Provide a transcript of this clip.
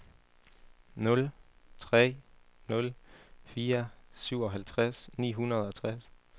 nul tre nul fire syvoghalvtreds ni hundrede og tres